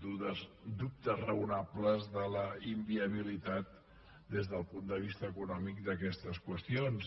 dubtes raonables de la inviabilitat des del punt de vista econòmic d’aquestes qüestions